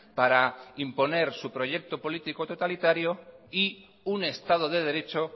para imponer su proyecto político totalitario y un estado de derecho